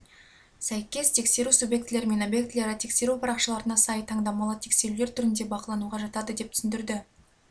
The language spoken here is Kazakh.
сәйкес тексеру субъектілері мен объектілері тексеру парақшаларына сай таңдамалы тексерулер түрінде бақылануға жатады деп түсіндірді